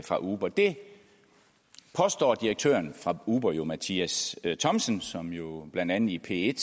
fra uber det påstår direktøren for uber mathias thomsen som jo blandt andet i p1